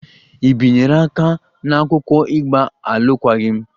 Ị bịanyere aka n'akwụkwọ ịgba alụkwaghịm?